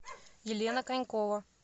елена конькова